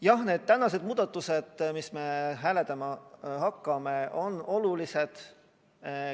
Jah, need tänased muudatused, mida me hääletama hakkame, on olulised.